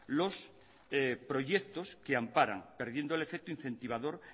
los proyectos que amparan perdiendo el efecto incentivador